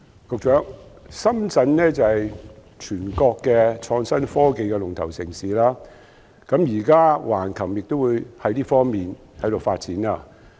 局長，深圳是全國創新科技龍頭城市，現在橫琴也朝這方向發展。